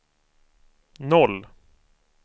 noll